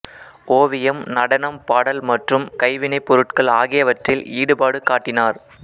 ஓவியம் நடனம் பாடல் மற்றும் கைவினைப் பொருட்கள் ஆகியவற்றில் ஈடுபாடு காட்டினார்